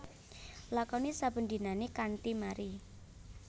Lakoni saben dinané kanthi mari